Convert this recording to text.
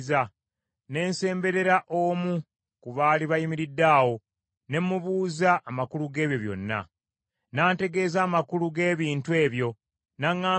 Ne nsemberera omu ku baali bayimiridde awo ne mubuuza amakulu g’ebyo byonna. “N’antegeeza amakulu g’ebintu ebyo, n’aŋŋamba nti,